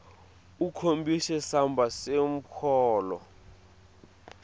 ukhombise samba semholo